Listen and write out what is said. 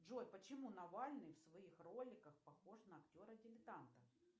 джой почему навальный в своих роликах похож на актера дилетанта